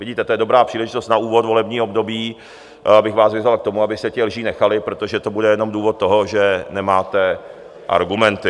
Vidíte, to je dobrá příležitost na úvod volebního období, abych vás vyzval k tomu, abyste těch lží nechali, protože to bude jenom důvod toho, že nemáte argumenty.